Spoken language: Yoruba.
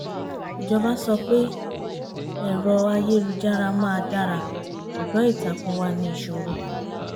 ìjọba sọ pé ẹ̀rọ-ayélujára máa dara ṣùgbọ́n ìtàkùn wà ní ìṣòro